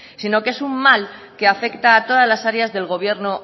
sino que es un mal que afecta a todas las áreas del gobierno